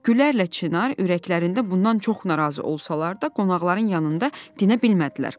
Gülərlə Çinar ürəklərində bundan çox narazı olsalar da, qonaqların yanında dinə bilmədilər.